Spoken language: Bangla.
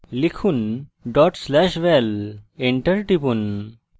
লিখুন/val dot slash val enter টিপুন